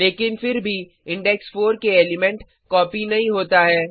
लेकिन फिर भी इंडेक्स 4 के एलिमेंट कॉपी नहीं होता है